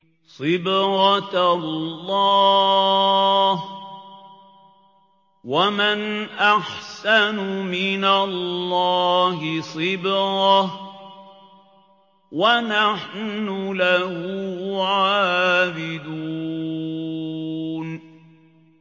صِبْغَةَ اللَّهِ ۖ وَمَنْ أَحْسَنُ مِنَ اللَّهِ صِبْغَةً ۖ وَنَحْنُ لَهُ عَابِدُونَ